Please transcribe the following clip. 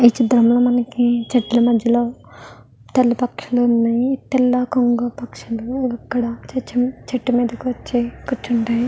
ఈ చిత్రం లో మనకి చెట్లు మద్యలో తెల్ల పక్షులు ఉన్నాయి తెల్ల కొంగ పక్షులు అక్కడ చెట్టు మీదకు వచ్చి కూర్చుంటాయి --